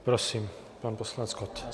Prosím, pan poslanec Kott.